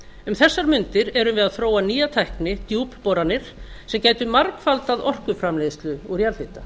um þessar mundir erum við að þróa nýja tækni djúpboranir sem gæti margfaldað orkuframleiðslu úr jarðhita